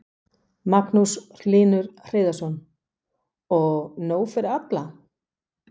Magnús Hlynur Hreiðarsson: Og nóg fyrir alla?